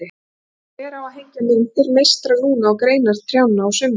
Og hver á að hengja myndir meistara Lúnu á greinar trjánna á sumrin?